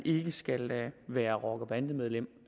ikke skal være rocker eller bandemedlem